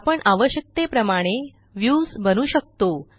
आपण आवश्यकतेप्रमाणे व्ह्यूज बनवू शकतो